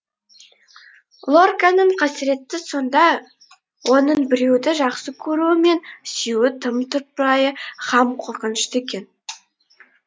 лорканың қасіреті сонда оның біреуді жақсы көруі мен сүюі тым тұрпайы һәм қорқынышты еді